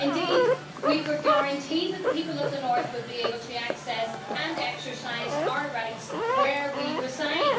Indeed, we were guaranteed that the people of the north would be able to access and exercise our rights where we reside.